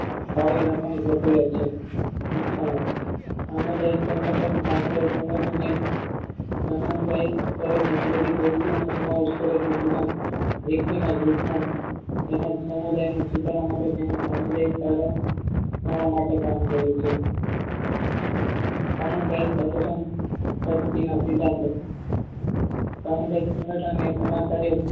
તેમજ સમુદાયનો સુધારા મટે તેને સમુદાય માટે કામ કરે છે. સમુદાય સંગઠન પદ્ધતિના સિધાન્તો સામુહિક સંગઠન એ સમાજ કાર્ય